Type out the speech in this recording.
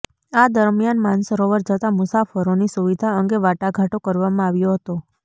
આ દરમિયાન માનસરોવર જતા મુસાફરોની સુવિધા અંગે વાટાઘાટો કરવામાં આવ્યો હતો